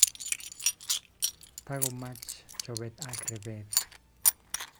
Takomach chobet ak repet